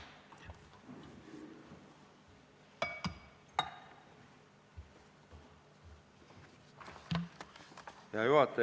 Hea juhataja!